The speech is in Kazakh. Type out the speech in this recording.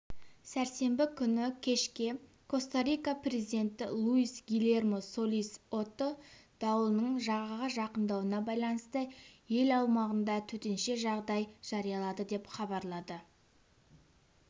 сәрсенбі күні кешке коста-рика президенті луис гильермо солис отто дауылының жағаға жақындауына байланысты ел аумағында төтенше жағдай жариялады деп хабарлады